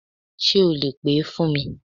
Sé o lè pè é fún mi